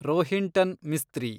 Rohinton Mistry